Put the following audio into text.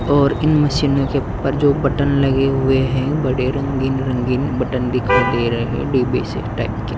और इन मशीनों के ऊपर जो बटन लगे हुए हैं बड़े रंगीन रंगीन बटन दिखाई दे रहे डिब्बे से टाइप के।